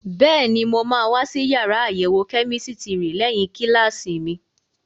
Bẹ́ẹ̀ni, mo máa wá sí yàrá àyẹ̀wò kẹ́mísítírì lẹ́yìn kíláàsì mi.